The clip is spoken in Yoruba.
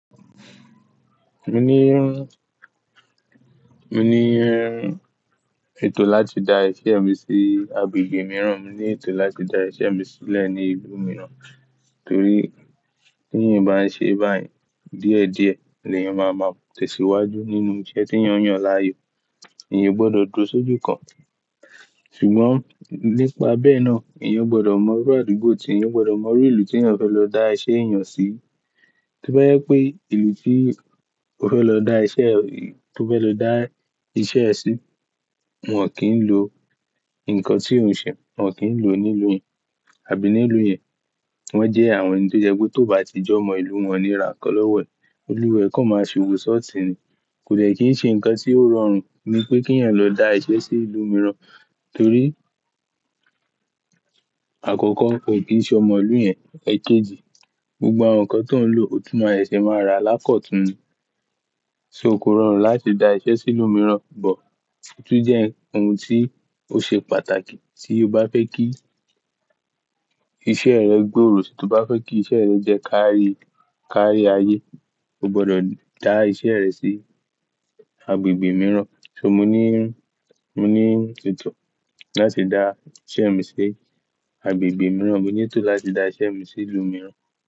Mo ní mo ni ètò láti da iṣẹ́ mi sí agbègbè mìíràn. Mo ní ètò láti da iṣẹ́ mi sílẹ̀ ní ìlú mìíràn, torí tí ìyẹn bá ń ṣe báyìí díẹ̀ díẹ̀, lè yẹn máa máa tẹ̀síwájú nínú iṣẹ́ tí ìyẹn yàn láàyò. Èyan ó gbọdọ̀ dúró sójú kan. Ṣùgbọ́n nípa bẹ́ẹ̀ náà, èyan gbọdọ̀ mọ rú àdúgbò tí ìyẹn gbọdọ̀ mọ rú ìlú tí ìyẹn fẹ́ lọ dá iṣẹ́ èèyàn sí. Tí ó bá yẹ pé ìlú tí ó fẹ́ lọ dá iṣẹ́, tí ó fẹ́ lọ dá iṣẹ́ ẹ sí, wọ́n kì ń lo nǹkan tí òun ṣe, wọ́n kì ń lo ní ìlú yìí àbí ní ìlú yẹn, wọ́n jẹ́ àwọn ẹni tó jẹ́ pé tó bá ti jọ mọ ìlú wọn níra kọ́ lọ́wọ́ ẹ̀, oluwa e kọ̀ máa ṣe òwò ṣọtì ni. Kò de kí n ṣe nǹkan tí ó rọrùn nípé kí ìyẹn lọ dá iṣẹ́ sí ìlú mìíràn, torí àkọ́kọ́ o kì í ṣe ọmọ ìlú yẹn, ẹjẹji gbogbo àwọn nǹkan tó ń lò, ó tún máa se ṣe máa ra lákọ̀tùn ni. So kò rọrùn láti da iṣẹ́ sí ìlú mìíràn, bọ̀ tí ó jẹ́ ohun tí ó ṣe pàtàkì tí o bá fẹ́ kí iṣẹ́ rẹ gbòòrò, tí o bá fẹ́ kí iṣẹ́ rẹ jẹ́ kárí, kárí ayé, o gbọdọ̀ dá iṣẹ́ rẹ sí agbègbè mìíràn. So mo ni mo ni ètò láti da iṣẹ́ mi sí agbègbè mìíràn. Mo ní ètò láti da iṣẹ́ mi sí ìlú mìíràn.